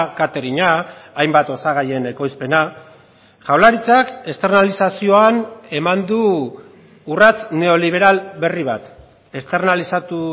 kateringa hainbat osagaien ekoizpena jaurlaritzak externalizazioan eman du urrats neoliberal berri bat externalizatu